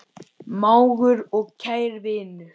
Mágur og kær vinur.